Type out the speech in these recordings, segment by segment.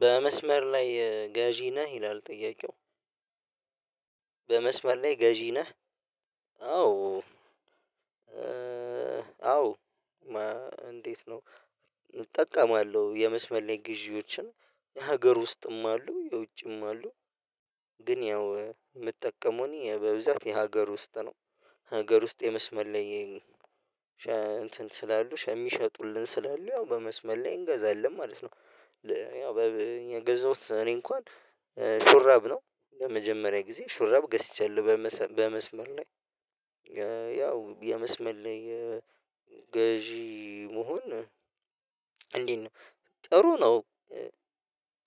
በመስመር ላይ ገዢ ነህ ይላል ጥያቄው? በመስመር ላይ ገዢ ነህ? አዎ አዎ እንዴት ነው እጠቀማለሁ የመስመር ላይ ግዢወች የሀገር ውስጥም አሉ የውጭም አሉ። ግን ያው የምጠቀመው እኔ በብዛት የሀገር ውስጥ ነው። ሀገር ውስጥ የመስመር ላይ እንትን ስላሉ የሚሸጡልን ስላሉ ያው በመስመር ላይ እንገዛለን ማለት ነው። ያው በእኛ የገዛሁት እኔ እንኳን ሹራብ ነው ለመጀመሪያ ጊዜ ሹራብ ገዝቻለሁ በመስመር ላይ። ያው የመስመር ላይ ገዢ መሆን እንዴት ነው ጥሩ ነው።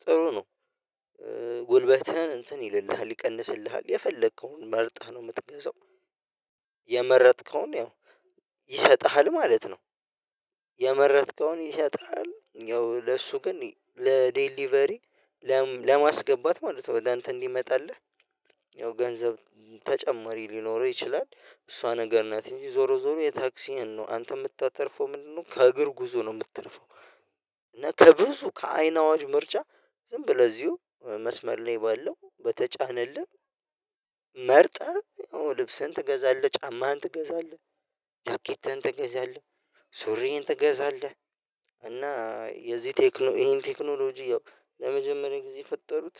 ጥሩ ነው ጉልበትህን እንትን ይልልሃል ይቀንስልሃል የፈለከውን መርጠህ ነው የምትገዛው። የመረጥከውን ያው ይሰጥሃል ማለት ነው። የመረጥከውን ይሰጥሃል ያው ለሱ ግን ለዴሊቨሪ ለማስገባት ማለት ነው ለአንተ እንዲመጣለህ ያው ገንዘብ ተጨማሪ ሊኖረው ይችላል። እሷ ነገር ናት እንጂ ዞሮ ዞሮ የታክሲዬን ነው አንተ የምታተርፈው ምንድነው? ከእግር ጉዞ ነው የምተርፈው። እና ከብዙ ከአይን አዋጅ ምርጫ ዝም ብለህ ለዚሁ መስመር ነው ባለው በተጫነልህ መርጠህ ያው ልብሰህን ትገዛለህ ጫማህን ትገዛለህ። ጃኬትን ትገዛለህ ሱሪን ትገዛለህ እና የዚህ ቴክኖሎጂ ይሄን ቴክኖሎጂ ያው ለመጀመሪያ ጊዜ የፈጠሩት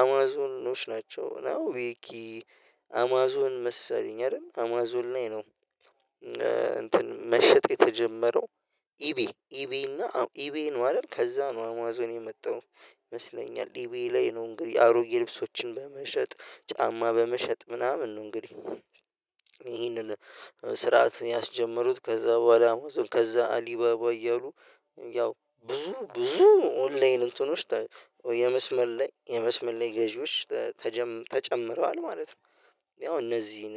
አማዞንኖች ናቸው። መሰለኝ አይደል አማዞን ላይ ነው። እንትን መሸጥ የተጀመረው ኢቤ ኢቤና ኢቤን ነው አይደል? ከዛ ነው አማዞን የመጣው ይመስለኛል ኢቤ ላይ ነው። እንግዲህ አሮጌ ልብሶችን በመሸጥ ጫማ በመሸጥ ምናምን ነው እንግዲህ። ይህንን ስርዓት ያስጀምሩት ከዛ በኋላ ከዛ አሊባባ እያሉ ያው ብዙ ብዙ ኦንላይን እንትኖች የመስመር ላይ የመስመር ላይ ገዢዎች ተጨምረዋል ማለት ነው። ያው እነዚህን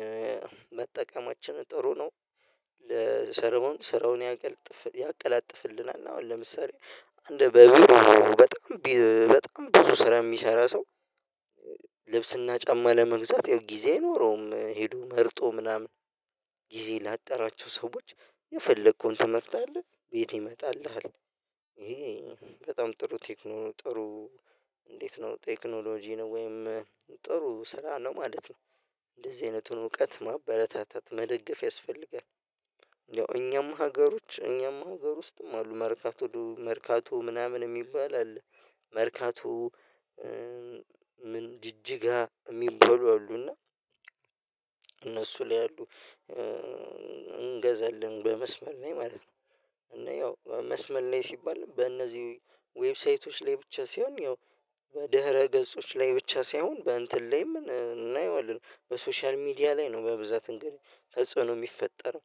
መጠቀማችን ጥሩ ነው። ለሰራው ስራውን ያቀላጥፍልናል አሁን ለምሳሌ አንድ በቢሮ በጣም በጣም ብዙ ስራ የሚሰራ ሰው ልብስና ጫማ ለመግዛት ያው ጊዜ አይኖረውም ሄዶ መርጦ ምናምን ጊዜ ላጣራቸው ሰዎች የፈለከውን ትመርጣለህ ቤት ይመጣልሃል። ይሄ በጣም ጥሩ ቴክኖሎጂ ነው ወይም ጥሩ ስራ ነው ማለት ነው። እንደዚህ አይነቱን እውቀት ማበረታታት መደገፍ ያስፈልጋል። ያው እኛም ሀገሮች እኛም ሀገር ውስጥም አሉ መርካቶ መርካቶ ምናምን የሚባል አለ። መርካቶ ምን ጅጅጋ የሚባሉ አሉና እነሱ ላይ አሉ። እንገዛለን በመስመር ላይ ማለት ነው። እና ያው መስመር ላይ ሲባል በእነዚህ ዌብሳይቶች ላይ ብቻ ሳይሆን ያው በድህረ ገጾች ላይ ብቻ ሳይሆን በእንትን ላይ እናየዋለን በሶሻል ሚዲያ ላይ ነው በብዛት እንግዲህ ተጽዕኖ የሚፈጠረው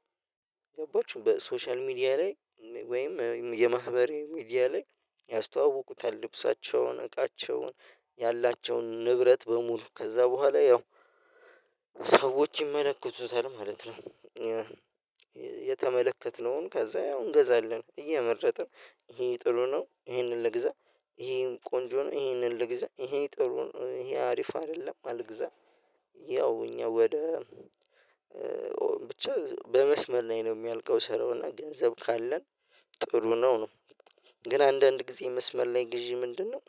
ገባችሁ በሶሻል ሚዲያ ላይ ወይም የማህበራዋ ሚዲያ ላይ ያስተዋውቁታል ልብሳቸውን እቃቸውን ያላቸውን ንብረት በሙሉ ከዛ በኋላ ያው ሰዎች ይመለከቱታል ማለት ነው። የተመለከትነውን ከዛ ያው እንገዛለን እየመረጥን ይሄ ጥሩ ነው ይሄንን ልግዛ ይሄን ቆንጆ ነው ይሄንን ልግዛ ይሄ ጥሩ ነው ይሄ አሪፍ አይደለም አልግዛ። ያው እኛ ወደ ብቻ በመስመር ላይ ነው የሚያልቀው ስራውን ገንዘብ ካለን ጥሩ ነው። ግን አንዳንድ ጊዜ መስመር ላይ ግዢ ምንድነው?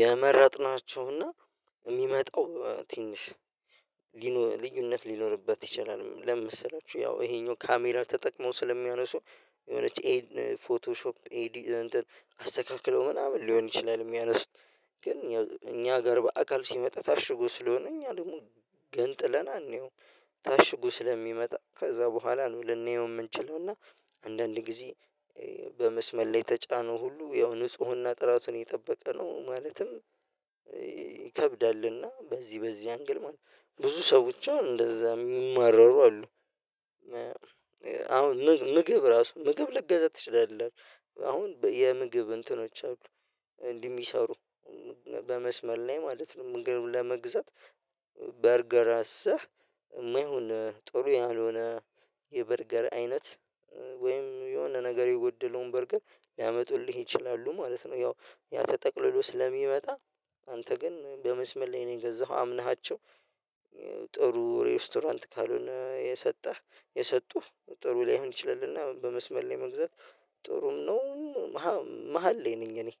የመረጥናቸውና የሚመጣው ትንሽ ልዩነት ሊኖርበት ይችላል። ለምን መሰላችሁ? ይሄኛው ካሜራ ተጠቅመው ስለሚያነሱ የሆነች ኤድ ፎቶሾፕ ኤዲት አስተካክለው ምናምን ሊሆን ይችላል። የሚያነሱት ግን እኛ ጋር በአካል ሲመጣ ታሽጎ ስለሆነ እኛ ደግሞ ገንጥለን አናየውም። ታሽጎ ስለሚመጣ ከዛ በኋላ ነው ልናየው የምንችለውና አንዳንድ ጊዜ በመስመር ላይ የተጫነው ሁሉ ያው ንፁህና ጥራቱን የጠበቀ ነው ማለትም ይከብዳልና በዚህ በዚህ አንግል ማለት ነው ብዙ ሰዎች እንደዛ የሚማረሩ አሉ። አሁን ምግብ ራሱ ምግብ ልገዛ ትችላለህ? አሁን የምግብ እንትኖች አሉ እንዲህ የሚሰሩ በመስመር ላይ ማለት ነው ምግብ ለመግዛት በርገር አዘህ የማይሆን ጥሩ ያልሆነ የበርገር አይነት ወይም የሆነ ነገር የጎደለውን በርገር ሊያመጡልህ ይችላሉ ማለት ነው። ያው ያተጠቅልሎ ስለሚመጣ አንተ ግን በመስመር ላይ ነው የገዛኸው አምነሃቸው ጥሩ ሬስቶራንት ካልሆነ የሰጠህ የሰጡህ ጥሩ ላይሆን ይችላልና በመስመር ላይ መግዛት ጥሩም ነው። መሃል ላይ ነኝ እኔ